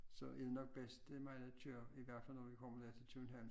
Så er det nok bedst det er mig der kører i hvert fald når vi kommer der til København